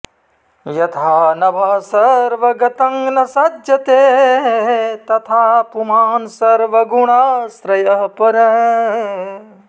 यथा नभः सर्वगतं न सज्जते तथा पुमान् सर्वगुणाश्रयः परः